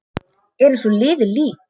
Er eins og liðið lík.